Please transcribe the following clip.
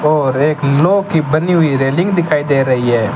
और एक लोह की बनी हुई रेलिंग दिखाई दे रही है।